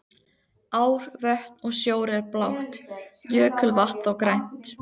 Ár, vötn og sjór er blátt, jökulvatn þó grænt.